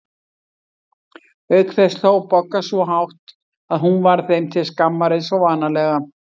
Auk þess hló Bogga svo hátt að hún varð þeim til skammar eins og vanalega.